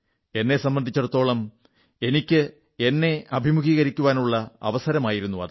എന്നെ സംബന്ധിച്ചിടത്തോളം എനിക്കു ഞാനുമായി അഭിമുഖീകരിക്കുവാനുള്ള അവസരമായിരുന്നു